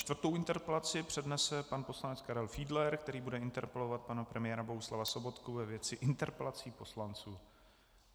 Čtvrtou interpelaci přednese pan poslanec Karel Fiedler, který bude interpelovat pana premiéra Bohuslava Sobotku ve věci interpelací poslanců.